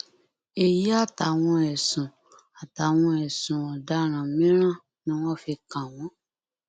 èyí àtàwọn ẹsùn àtàwọn ẹsùn ọdaràn mìíràn ni wọn fi kàn wọn